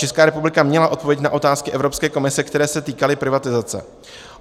Česká republika měla odpovědět na otázky Evropské komise, které se týkaly privatizace.